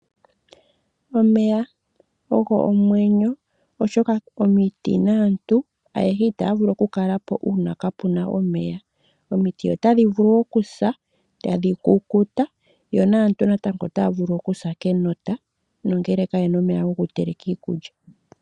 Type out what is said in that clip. Omeya ogo omwenyo oshoka omiti naantu ayehe itaya vulu okukalapo kaapuna omeya. Omiti otadhi vulu okusa etadhi kukuta yo naantu natango otaya vulu okusa enota nondjala ngele kayena omeya gokuteleka iikulya.